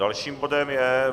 Dalším bodem je